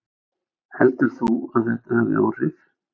Heldur þú að þetta hafi áhrif?